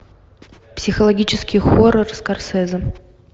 психологический хоррор скорсезе